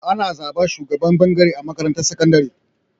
Ana zaɓan shugaban ɓangare a makarantar sakandari.